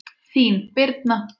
Þín, Birna.